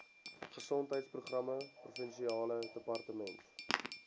gesondheidsprogramme provinsiale departement